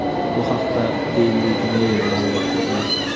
Bu haqda "Daily Mail" ma’lumot bergan.